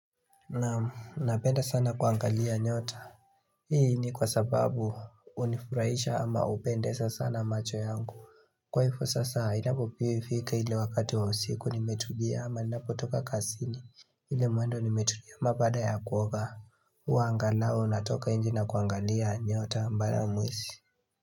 Na napenda sana kuangalia nyota Hii ni kwa sababu unifurahisha ama upende sasa na macho yangu Kwa hifo sasa inapofika ile wakati wa usiku nimetulia ama ninapo toka kasini ile muendo nimetulia ama baada ya kuoga Uangalao natoka inje na kuangalia nyota mbaramwezi.